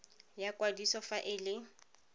ya kwadiso fa e le